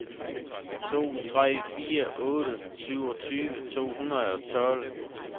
to tre fire otte syvogtyve to hundrede og tolv